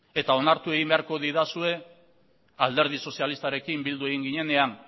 eta onartu egin beharko didazue alderdi sozialistarekin bildu egin ginenean